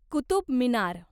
Qutub Minar